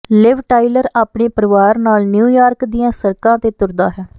ਲਿਵ Tyler ਆਪਣੇ ਪਰਿਵਾਰ ਨਾਲ ਨਿਊ ਯਾਰਕ ਦੀਆਂ ਸੜਕਾਂ ਤੇ ਤੁਰਦਾ ਹੈ